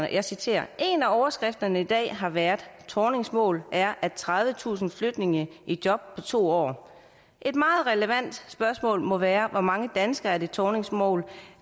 og jeg citerer en af overskrifterne i dag har været at thornings mål er tredivetusind flygtninge i job på to år et meget relevant spørgsmål må være hvor mange danskere er det thornings mål